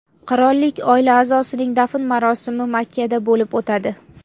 Qirollik oilasi a’zosining dafn marosimi Makkada bo‘lib o‘tadi.